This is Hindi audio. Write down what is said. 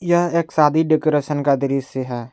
यह एक शादी के डेकोरेशन का दृश्य है।